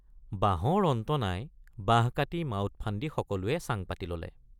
বাঁহৰ অন্ত নাই বাঁহ কাটি মাউত ফান্দী সকলোৱে চাং পাতি ললে।